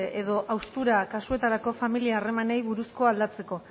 edo haustura kasuetarako familia harremanei buruzkoa aldatzeko